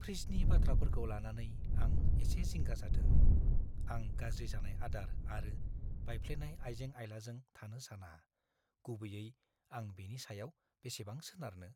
फ्रिजनि बाथ्राफोरखौ लानानै आं एसे जिंगा जादों; आं गाज्रि जानाय आदार आरो बायफ्लेनाय आइजें-आइलाजों थानो साना, गुबैयै आं बेनि सायाव बेसेबां सोनारनो।